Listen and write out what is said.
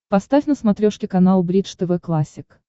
поставь на смотрешке канал бридж тв классик